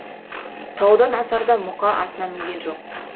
таудан асарда мұқа атына мінген жоқ